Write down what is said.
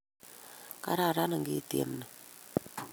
Kararan ngityem ni